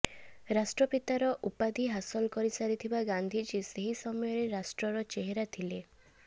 ରାଷ୍ଟ୍ରପିତାର ଉପାଧି ହାସଲ କରିସାରି ଥିବା ଗାନ୍ଧିଜୀ ସେହି ମସୟରେ ରାଷ୍ଟ୍ରର ଚେହେରା ଥିଲେ